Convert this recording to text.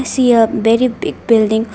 i see a very big building.